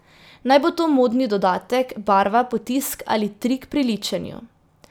Naj bo to modni dodatek, barva, potisk ali trik pri ličenju.